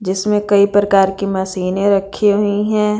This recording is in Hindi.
इसमें कई प्रकार की मशीनें रखी हुई हैं।